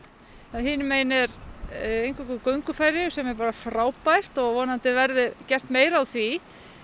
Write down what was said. hinum megin er eingöngu göngufæri sem er bara frábært og vonandi verður gert meira úr því